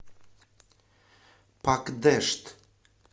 пакдешт